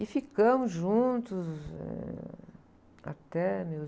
E ficamos juntos, ãh, até meus...